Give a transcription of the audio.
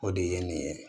O de ye nin ye